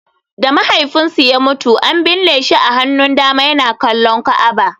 Da mahaifinsu ya mutu, an binne shi a hannun dama yana kallon Ka'aba.